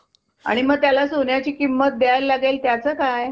आणि मग त्याला सोन्याची किंमत द्याय लागेल त्याचं काय?